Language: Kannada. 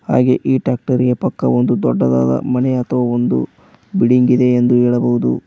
ಹಾಗೆ ಈ ಟ್ಯಾಕ್ಟರಿ ಗೆ ಪಕ್ಕ ಒಂದು ದೊಡ್ಡದಾದ ಮನೆ ಅಥವಾ ಒಂದು ಬಿಡಿಂಗ ಇದೆ ಎಂದು ಹೇಳಬಹುದು.